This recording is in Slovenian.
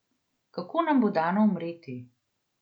Kako nam bo dano umreti?